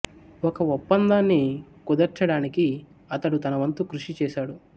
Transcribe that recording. ఒక ఒప్పందాన్ని కుదర్చడానికి అతడు తన వంతు కృషి చేశాడు